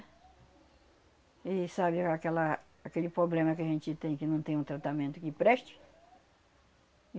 E sabe aquela, aquele poblema que a gente tem que não tem um tratamento que preste.